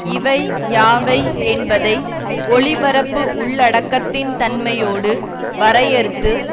இவை யாவை என்பதை ஒலிபரப்பு உள்ளடக்கத்தின் தன்மையோடு வரையறுத்து